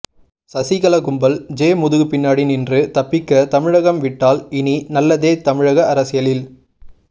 சகிகலா கும்பல் ஜெ முதுகு பின்னாடி நின்று தப்பிக்க தமிழகம் விட்டால் இனி நல்லதே தமிழக அரசியலில்